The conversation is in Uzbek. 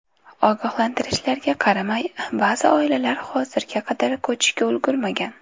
Ogohlantirishlarga qaramay, ba’zi oilalar hozirga qadar ko‘chishga ulgurmagan.